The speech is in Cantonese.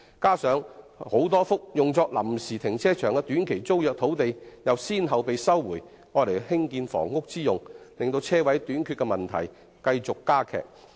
再者，多幅用作臨時停車場的短期租約土地已先後被收回作建屋之用，導致車位短缺的問題進一步加劇。